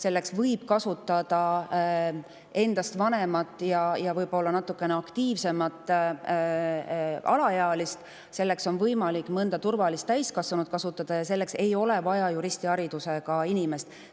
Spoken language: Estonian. Selleks võib kasutada endast vanema ja võib-olla natukene aktiivsema alaealise, selleks on võimalik ka mõne turvalise täiskasvanu kasutada ja selleks ei ole vaja juristiharidusega inimest.